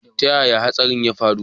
Ta yaya hatsarin ya faru?